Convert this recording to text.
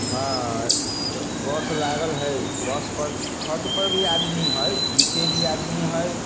हाय bus लागल हाय bus पर छत पर आदमी हाय नीचे भी आदमी हाय।